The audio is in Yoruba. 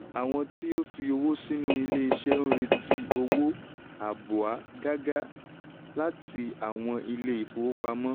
àwọn tí ó fi owó sínú ilé iṣẹ́ ń retí owó àbúa gágá láti àwọn ilé ifówopàmọ́.